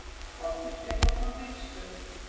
Valtýr Stefánsson ritstjóri